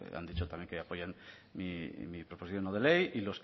han dicho también que apoyan mi proposición no de ley